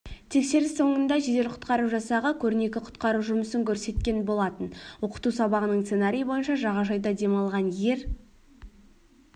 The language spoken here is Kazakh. тексеріс соңында жедел-құтқару жасағы көрнекі құтқару жұмысын көрсеткен болатын оқыту сабағының сценариі бойынша жағажайда демалған ер